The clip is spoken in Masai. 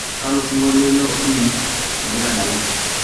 kalo sinkolio ilo oningo egira adala